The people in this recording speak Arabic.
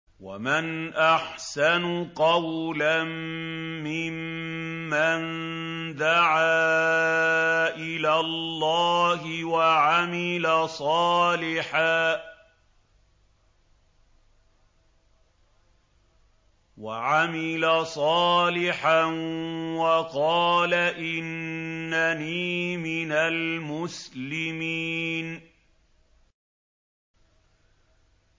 وَمَنْ أَحْسَنُ قَوْلًا مِّمَّن دَعَا إِلَى اللَّهِ وَعَمِلَ صَالِحًا وَقَالَ إِنَّنِي مِنَ الْمُسْلِمِينَ